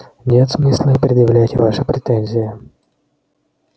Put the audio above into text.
нет смысла и предъявлять ваши претензии